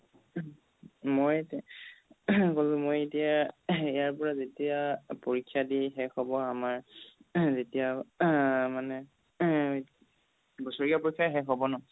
মই throat ক'লো মই এতিয়া throat ইয়াৰ পৰা যেতিয়া পৰীক্ষা দি শেষ হ'ব আমাৰ throat যেতিয়া মানে throat বছৰীয়া পৰীক্ষা শেষ হ'ব ন